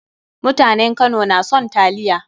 Mutanen Kano na son taliya.